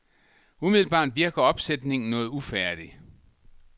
Umiddelbart virker opsætningen noget ufærdig.